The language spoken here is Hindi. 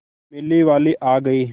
मेले वाले आ गए